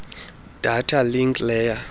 data link layer